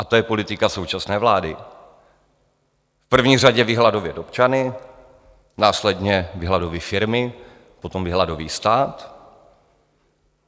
A to je politika současné vlády: v první řadě vyhladovět občany, následně vyhladoví firmy, potom vyhladoví stát.